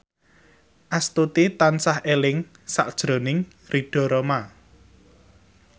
Astuti tansah eling sakjroning Ridho Roma